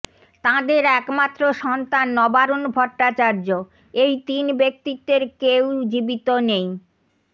তাঁদের একমাত্র সন্তান নবারুণ ভট্টাচার্য এই তিন ব্যক্তিত্বের কেউই জীবিত নেই